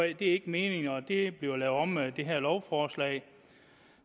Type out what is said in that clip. ikke meningen og det bliver lavet om med det her lovforslag